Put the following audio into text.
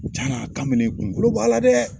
jaa kabelen in kunkolo b'a la dɛ!